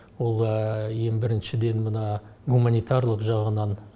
ол ең біріншіден мына гуманитарлық жағынан